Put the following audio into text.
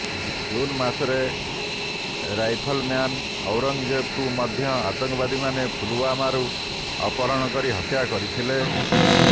June ମାସରେ rifleman ଔରଙ୍ଗଜେବଙ୍କୁ ମଧ୍ୟ ଆତଙ୍କବାଦୀମାନେ ପୁଲୱାମାରୁ ଅପହରଣ କରି ହତ୍ୟା କରିଥିଲେ